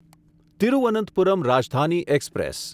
Thiruvananthapuram Rajdhani express